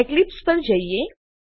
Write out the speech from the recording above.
Eclipse પર જઈએ